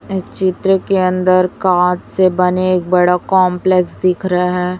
इस चित्र के अंदर कांच से बने एक बड़ा कॉम्प्लेक्स दिख रहा है।